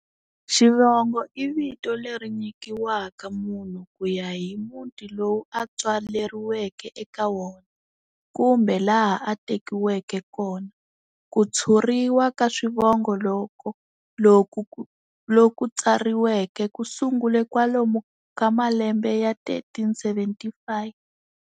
Xivongo i vito leri nyikiwaka munhu ku ya hi muti lowu a tswaleriweke eka wona, kumbe laha a tekiweke kona. Ku tshuriwa ka swivongo loku tsariweke ku sungule kwalomu ka malembe ya 1375.